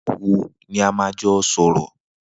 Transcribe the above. Nigbà wó ni à mà jọ sọrọ